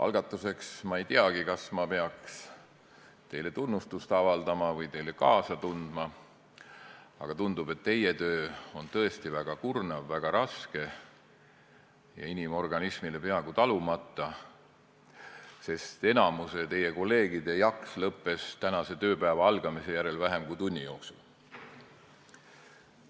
Alustuseks: ma ei teagi, kas ma peaks teile tunnustust avaldama või teile kaasa tundma, aga tundub, et teie töö on tõesti väga kurnav, väga raske ja inimorganismile peaaegu talumatu, sest enamiku teie kolleegide jaks lõppes tänase tööpäeva algamise järel vähem kui tunni jooksul.